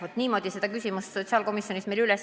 Jah, niimoodi seda küsimust meil sotsiaalkomisjonis ei tõstatatud.